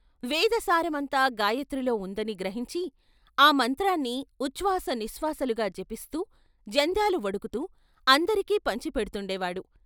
వేదసారమంతా గాయత్రిలో ఉందని గ్రహించి ఆ మంత్రాన్ని ఉఛ్వాస నిశ్వాసాలుగా జపిస్తూ, జంధ్యాలు వడుకుతూ అందరికీ పంచిపెడ్తుండేవాడు.